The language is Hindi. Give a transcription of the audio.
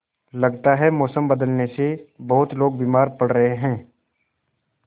लगता है मौसम बदलने से बहुत लोग बीमार पड़ रहे हैं